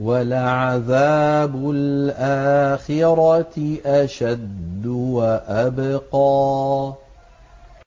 وَلَعَذَابُ الْآخِرَةِ أَشَدُّ وَأَبْقَىٰ